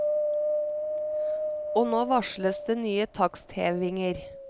Og nå varsles det nye taksthevinger.